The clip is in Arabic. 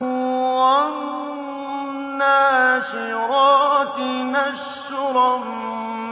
وَالنَّاشِرَاتِ نَشْرًا